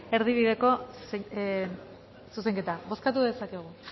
erdibideko zuzenketa bozkatu dezakegu